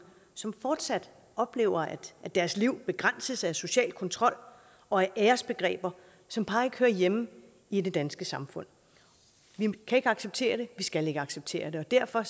som fortsat oplever at deres liv begrænses af social kontrol og æresbegreber som bare ikke hører hjemme i det danske samfund vi kan ikke acceptere det vi skal ikke acceptere det og derfor